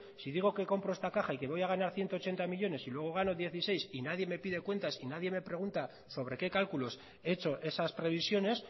si digo que compro esta caja y que voy a ganar ciento ochenta millónes y luego gano dieciséis y nadie me pide cuentas y nadie me pregunta sobre qué cálculos he hecho esas previsiones